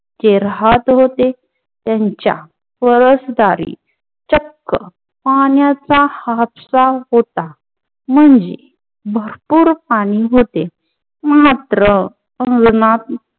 ते राहत होते त्यांच्या चक्क पाण्याचा हापसा होता म्हणजे भरपूर पाणी होते मात्र अंगणात